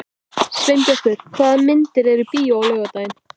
Sveinbjartur, hvaða myndir eru í bíó á laugardaginn?